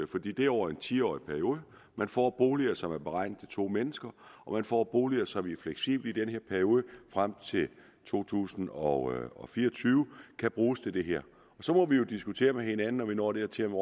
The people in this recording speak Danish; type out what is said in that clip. fordi det er over en ti årsperiode man får boliger som er beregnet til to mennesker og man får boliger som fleksibelt i perioden frem til to tusind og og fire og tyve kan bruges til det her så må vi jo diskutere med hinanden når vi når dertil om